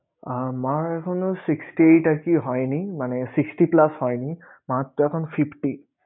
মার এখনো sixty এইটা আরকি হয়নি মানে sixty plus হয়নি, মার তো এখন fifty